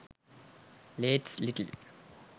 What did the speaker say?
lates litle